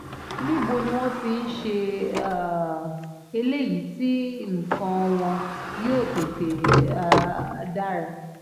níbo ni wọ́n ti ń ṣe um eléyìí tí nǹkan wọn yóò tètè um dára